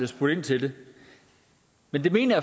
spurgt ind til det men det mener